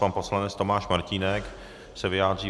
Pan poslanec Tomáš Martínek se vyjádří.